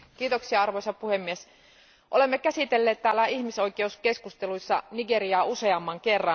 Arvoisa puhemies, olemme käsitelleet täällä ihmisoikeuskeskusteluissa Nigeriaa useamman kerran.